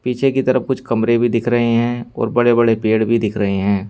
पीछे की तरफ कुछ कमरे भी दिख रहे हैं और बड़े बड़े पेड़ भी दिख रहे हैं।